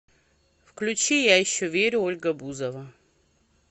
включи я еще верю ольга бузова